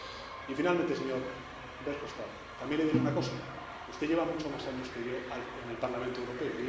Y, finalmente, señor Verhofstadt, también le diré una cosa usted lleva muchos más años que yo en el Parlamento Europeo.